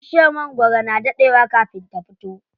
Bishiyar magwaro na daɗe wa kafin ta fito.